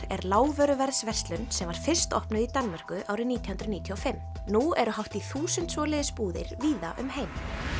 er lágvöruverðsverslun sem var fyrst opnuð í Danmörku árið nítján hundruð níutíu og fimm nú eru hátt í þúsund svoleiðis búðir víða um heim